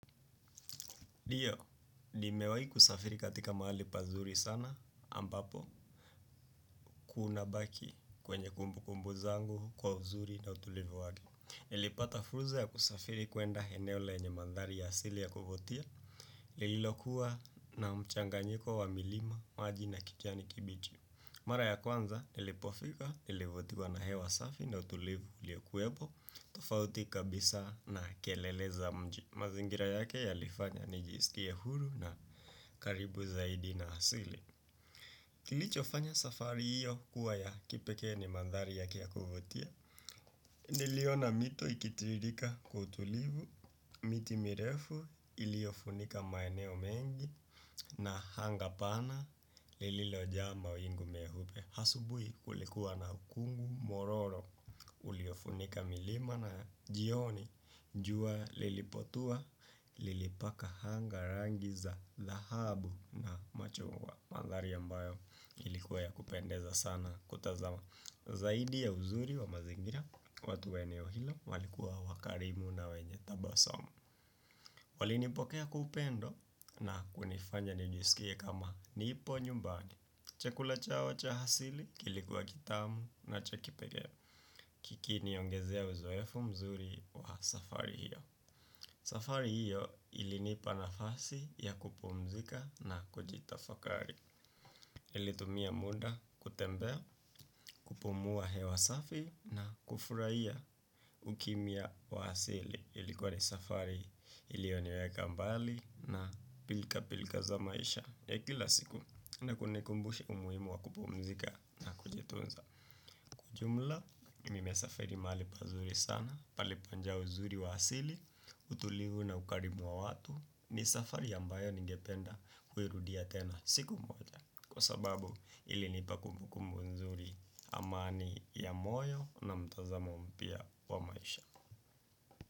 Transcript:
Ndiyo, ni mewai kusafiri katika mahali pazuri sana, ambapo kunabaki kwenye kumbu kumbu zangu kwa uzuri na utulivu wake. Nilipata fursa ya kusafiri kuenda eneo lenye mandhari ya asili ya kuvutia, lililokuwa na mchanganyiko wa milima maji na kijani kibichi. Mara ya kwanza, nilipofika, nilivutiwa na hewa safi na utulivu ulio kuwepo, tofauti kabisa na kelele za mji. Mazingira yake yalifanya ni jisikie huru na karibu zaidi na asili. Kilicho fanya safari hiyo kuwa ya kipekee ni mandhari yake ya kuvutia. Niliona mito ikitirika kwa utulivu. Mitimirefu iliofunika maeneo mengi. Na anga pana lililo jaa mawingu meupe asubuhi kulikuwa na ukungu mwororo. Uliofunika milima na jioni jua lilipotua, lilipaka anga rangiza, dhahabu na machungwa. Mandhari ambayo ilikuwa ya kupendeza sana kutazama. Zaidi ya uzuri wa mazingira, watu wa eneo hilo, walikuwa wakarimu na wenye tabasamu. Walinipokea kwa upendo na kunifanya nijisikie kama nipo nyumbani. Chakula chao cha asili, kilikuwa kitamu na cha kipekee. Kiki niongezea uzoefu mzuri wa safari hiyo. Safari hiyo ilinipa nafasi ya kupumzika na kujitafakari nilitumia muda kutembea, kupumua hewa safi na kufurahia ukimya wa asili. Ilikuwa ni safari iliyoniweka mbali na pilka pilka za maisha ya kila siku na kunikumbusha umuhimu wa kupumzika na kujitunza. Jumla, nime safari mahali pazuri sana, palipojaa uzuri waasili, utulivu na ukarimu wa watu ni safari ambayo ningependa kuirudia tena siku moja. Kwa sababu ilinipa kumbukumbu nzuri amani ya moyo na mtazamo mpya wa maisha.